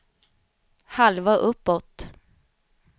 halva uppåt